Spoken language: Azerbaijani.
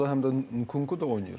Orda həm də oynayır.